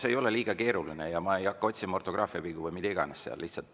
See ei ole liiga keeruline ja ma ei hakka otsima ortograafiavigu või mida iganes.